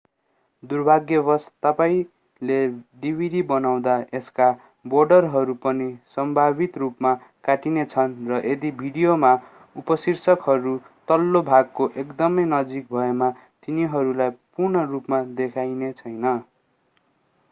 दुर्भाग्यवश तपाईंले डिभिडि बनाउँदा यसका बोर्डरहरू पनि सम्भावित रूपमा काटिनेछन् र यदि भिडियोमा उपशीर्षकहरू तल्लो भागको एकदमै नजिक भएमा तिनीहरूलाई पूर्ण रूपमा देखाइनेछैन